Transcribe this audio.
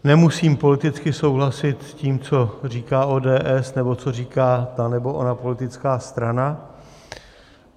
Nemusím politicky souhlasit s tím, co říká ODS nebo co říká ta nebo ona politická strana.